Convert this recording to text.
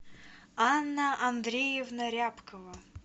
анна андреевна рябкова